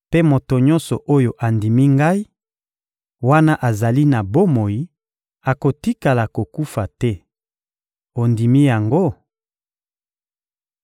Mpe moto nyonso oyo andimi Ngai, wana azali na bomoi, akotikala kokufa te. Ondimi yango?